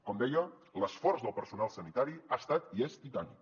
com deia l’esforç del personal sanitari ha estat i és titànic